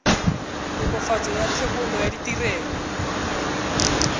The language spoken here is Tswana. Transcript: tokafatso ya thebolo ya ditirelo